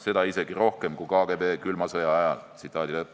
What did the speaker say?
Seda isegi rohkem kui KGB külma sõja ajal.